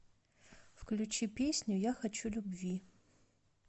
включи песню я хочу любви